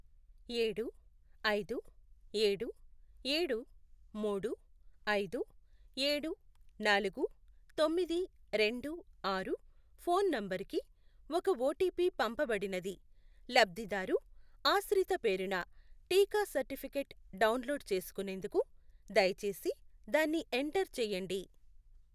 ఏడు, ఐదు, ఏడు, ఏడు, మూడు, ఐదు, ఏడు, నాలుగు, తొమ్మిది, రెండు, ఆరు, ఫోన్ నంబరుకి ఒక ఓటీపీ పంపబడినది. లబ్ధిదారు ఆశ్రిత పేరున టీకా సర్టిఫికేట్ డౌన్లోడ్ చేసుకునేందుకు దయచేసి దాన్ని ఎంటర్ చేయండి.